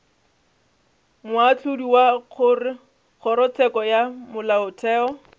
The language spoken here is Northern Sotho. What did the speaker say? moahlodi wa kgorotsheko ya molaotheo